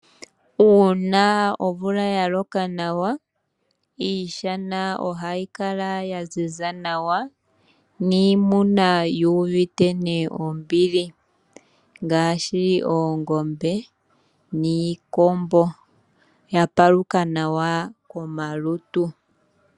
Uuna omvula yaloka nawa iishana ohayi kala yaziza nawa niimuna yuuvite ne ombili ngaashi oongombe niikombo, yapaluka nawa komalutu.